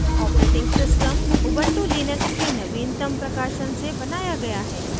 operating system ubuntu Linux के नवीनतम प्रकाशन से बनाया गया है